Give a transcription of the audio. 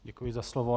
Děkuji za slovo.